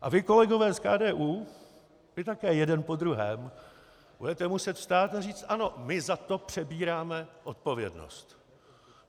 A vy, kolegové z KDU, vy také jeden po druhém budete muset vstát a říci: Ano, my za to přebíráme odpovědnost.